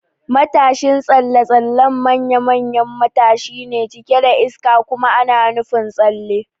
Matashin tsalle-tsalle manya-manyan matashi ne cike da iska kuma ana nufin tsalle.